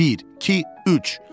Bir, iki, üç.